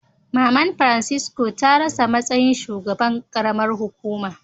Mama'n Francisco ta rasa matsayin shugaban karamar hukuma.